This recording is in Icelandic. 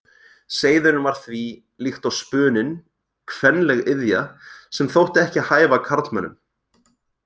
Seiðurinn var því, líkt og spuninn, kvenleg iðja, sem þótti ekki hæfa karlmönnum.